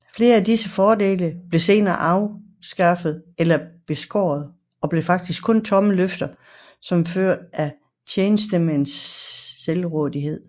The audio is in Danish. Flere af disse fordele blev senere afskaffede eller beskårede og blev faktisk kun tomme løfter som følge af tjenestemændenes selvrådighed